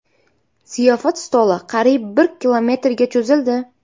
Ziyofat stoli qariyb bir kilometrga cho‘zildi.